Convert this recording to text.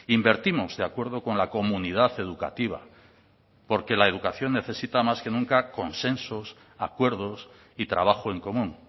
invertimos de acuerdo con la comunidad educativa porque la educación necesita más que nunca consensos acuerdos y trabajo en común